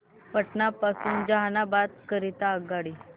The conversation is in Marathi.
पटना पासून जहानाबाद करीता आगगाडी